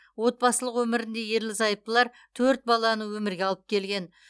отбасылық өмірінде ерлі зайыптылар төрт баланы өмірге алып келген